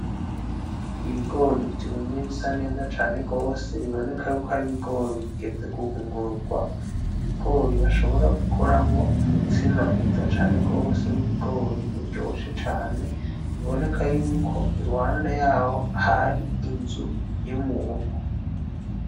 Ibigori vyumye bisa neza cane gose biboneka yuko ari ibigori bigeze guhungurugwa, ibigori bashobora gukoramwo umutsima mwiza cane gose w'ibigori uryoshe cane biboneka yuko iruhande yaho hari inzu y'umuntu.